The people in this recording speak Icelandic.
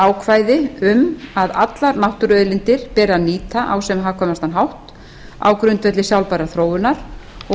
ákvæði um að allar náttúruauðlindir beri að nýta á sem hagkvæmastan hátt á grundvelli sjálfbærrar þróunar og